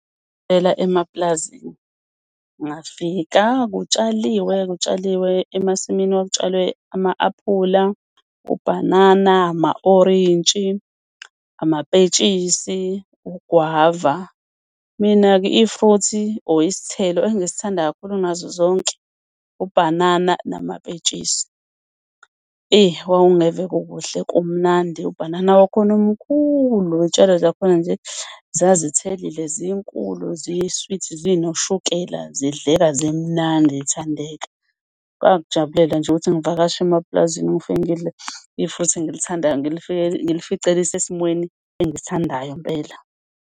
Phela emapulazini ngafika kutshaliwe, kutshaliwe emasimini kwakutshalwe ama-aphula, ubhanana, amawolintshi, amapentshisi, ugwava. Mina-ke i-fruit-i or isithelo engisithanda kakhulu kunazo zonke ubhanana namapentshisi. Eyi kwakungeve kukuhle, kumnandi, ubhanana wakhona umkhulu, iy'tshalo zakhona nje zazithelile, zinkulu, ziyi-sweet, zinoshukela, zidleka, zimnandi, zithandeka. Ngakujabulela nje ukuthi ngivakashe emapulazini. Ngofike ngidle i-fruit-thi engilithandayo, ngilifice lisesimweni engisithandayo impela.